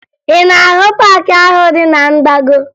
Ị na-ahụ paakị ahụ dị na mgbago?